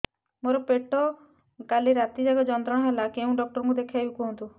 ମୋର ପେଟ କାଲି ରାତି ଯାକ ଯନ୍ତ୍ରଣା ଦେଲା କେଉଁ ଡକ୍ଟର ଙ୍କୁ ଦେଖାଇବି କୁହନ୍ତ